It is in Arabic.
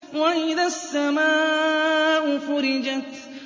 وَإِذَا السَّمَاءُ فُرِجَتْ